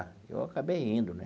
Eu acabei indo né.